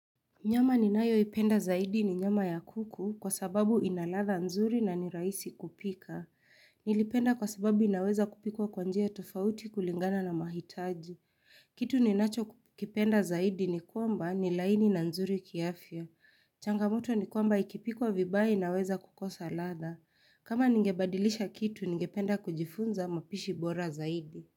Nyama ninayoipenda zaidi ni nyama ya kuku kwa sababu ina ladha nzuri na nirahisi kupika. Nilipenda kwa sababu inaweza kupikwa kwa njia tofauti kulingana na mahitaji. Kitu ninachokipenda zaidi ni kwamba ni laini na nzuri kiafya. Changamoto ni kwamba ikipikwa vibaya inaweza kukosa ladha. Kama ningebadilisha kitu, ningependa kujifunza mapishi bora zaidi.